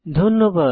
ধন্যবাদ